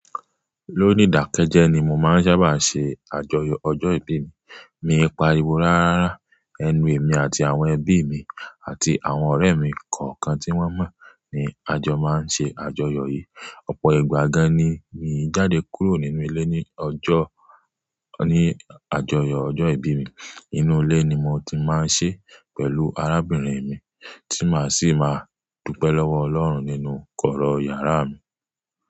Lónìí dàkẹ́jẹ́ ni mo máa ń sábà ṣe àjọyọ̀ ọjọ́ ìbí mi. Mi ń pariwo rárá, ẹnu èmi àti àwọn ẹbí mi àti àwọn ọ̀rẹ́ mi kọ̀ọ̀kan tí wọ́n mọ̀ ní àjọ máa ń ṣe àjọyọ̀ yìí. Ọ̀pọ̀ ìgbà gan-an ni mi jáde kúrò nínú ilé ní ọjọ́, ní àjọyọ̀ ọjọ́ ìbí mi. Inú ilé ni mo ti máa ń ṣe pẹ̀lú arábìnrin mi tí màá sì máa dúpẹ́ lọ́wọ́ Ọlọ́run nínú kọ̀rọ̀ yàrá mi.